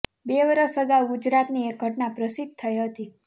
બે વરસ અગાઉ ગુજરાતની એક ઘટના પ્રસિધ્ધ થઇ હતી